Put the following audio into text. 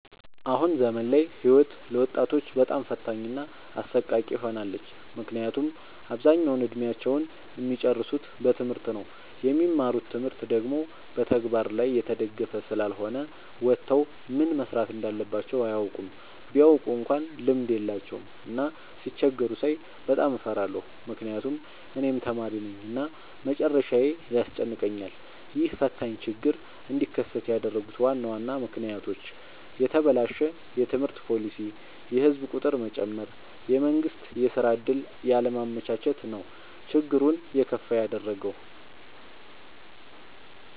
አሁን ዘመን ላይ ህይወት ለወጣቶች በጣም ፈታኝ እና አሰቃቂ ሆናለች። ምክንያቱም አብዛኛውን እድሜአቸውን እሚጨርሱት በትምህርት ነው። የሚማሩት ትምህርት ደግሞ በተግበር ላይ የተደገፈ ስላልሆነ ወተው ምን መስራት እንዳለባቸው አያውቁም። ቢያውቁ እንኳን ልምድ የላቸውም። እና ሲቸገሩ ሳይ በጣም እፈራለሁ ምክንያቱም እኔም ተማሪነኝ እና መጨረሻዬ ያስጨንቀኛል። ይህ ፈታኝ ችግር እንዲከሰት ያደረጉት ዋና ዋና ምክንያቶች፦ የተበላሸ የትምህርት ፓሊሲ፣ የህዝብ ቁጥር መጨመር፣ የመንግስት የስራ ዕድል ያለማመቻቸት ነው። ችግሩን የከፋ ያደረገው።